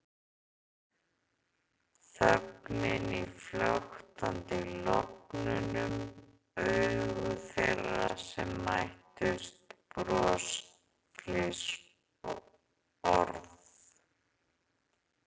Þögnin í flöktandi logunum, augu þeirra sem mættust, bros, fliss, orð.